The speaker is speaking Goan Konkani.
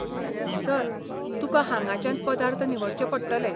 सर, तुकां हांगाच्यान पदार्थ निवडचें पडटलें.